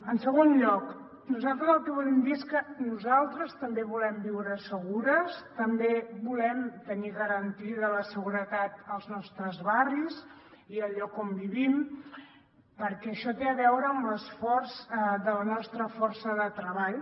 en segon lloc nosaltres el que volem dir és que nosaltres també volem viure segures també volem tenir garantida la seguretat als nostres barris i al lloc on vivim perquè això té a veure amb l’esforç de la nostra força de treball